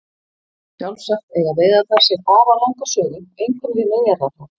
Sjálfsagt eiga veiðarnar sér afar langa sögu einkum við Miðjarðarhaf.